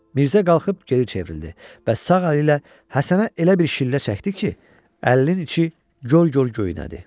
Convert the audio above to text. Mirzə qalxıb geri çevrildi və sağ əli ilə Həsənə elə bir şillə çəkdi ki, əlinin içi gör-gör göynədi.